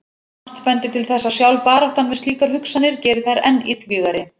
Margt bendir til þess að sjálf baráttan við slíkar hugsanir geri þær enn illvígari.